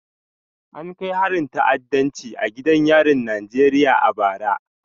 An kai harin ta'addanci a gidan yarin Najeriya a bara